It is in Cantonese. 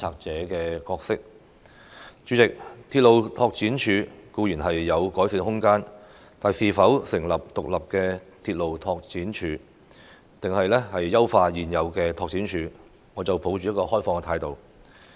主席，鐵路拓展處固然有改善的空間，但究竟應該成立獨立的鐵路拓展署，還是優化現有的鐵路拓展處，我抱持開放的態度。